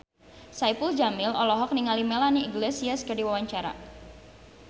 Saipul Jamil olohok ningali Melanie Iglesias keur diwawancara